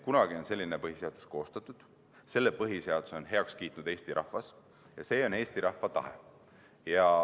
Kunagi on selline põhiseadus koostatud, selle põhiseaduse on heaks kiitnud Eesti rahvas ja see on Eesti rahva tahe.